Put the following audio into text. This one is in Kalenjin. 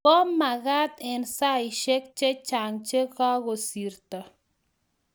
ko magat eng saishek che chang che kakosirto